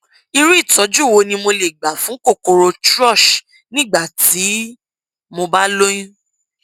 irú ìtọjú wo ni mo lè gbà fún kòkòrò thrush nígbà tí mo bá lóyún